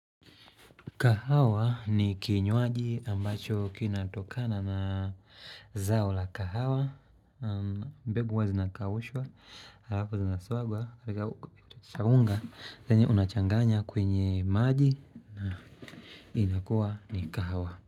Kahawa ni kinywaji ambacho kinatokana na zao la kahawa mbegu huwazinakawushwa, alafu zinaswagwa, Saunga, zanye unachanganya kwenye maji na inakuwa ni kahawa.